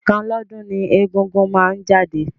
Ẹ̀kan lọ́dún ni egúngún máa ń jáde.